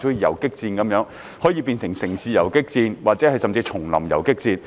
有時像游擊戰，既有城市游擊戰，也有叢林游擊戰。